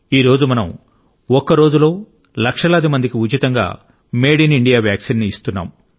ఈ రోజు మనం ఒక్క రోజులో లక్షలాది మందికి ఉచితంగా మేడ్ ఇన్ ఇండియా వ్యాక్సిన్ ఇస్తున్నాం